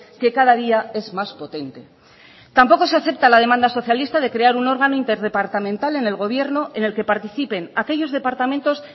que cada día es más potente tampoco se acepta la demanda socialista de crear un órgano interdepartamental en el gobierno en el que participen aquellos departamentos